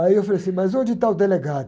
Aí eu falei assim, mas onde está o delegado?